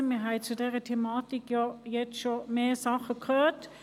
Wir haben schon viel zu dieser Thematik gehört.